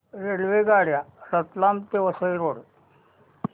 रेल्वेगाड्या रतलाम ते वसई रोड